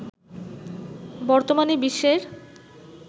বর্তমানে বিশ্বের